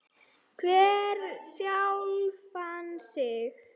Spyrji hver sjálfan sig.